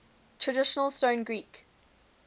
traditional stone greek